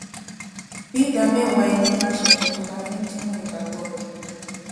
bí ìdá méwàá ẹnì bá ṣe pò tó la fi ń díwòn ìgbàgbó rè